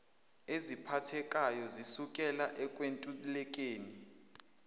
eziphathekayo zisukela ekwentulekeni